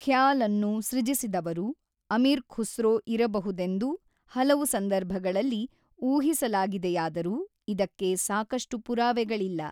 ಖ್ಯಾಲ್ಅನ್ನು ಸೃಜಿಸಿದವರು ಅಮೀರ್ ಖುಸ್ರೋ ಇರಬಹುದೆಂದು ಹಲವು ಸಂದರ್ಭಗಳಲ್ಲಿ ಊಹಿಸಲಾಗಿಯಾದರೂ ಇದಕ್ಕೆ ಸಾಕಷ್ಟು ಪುರಾವೆಗಳಿಲ್ಲ.